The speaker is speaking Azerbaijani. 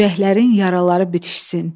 Ürəklərin yaraları bitişsin.